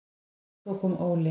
Og svo kom Óli.